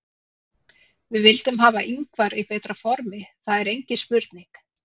Við vildum hafa Ingvar í betra formi, það er engin spurning.